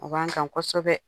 O b'an kan kosɛbɛ.